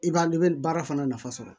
I b'a i bɛ baara fana nafa sɔrɔ